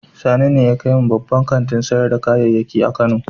Sani ne ya kai mu babban kantin sayar da kayayyaki na Kano.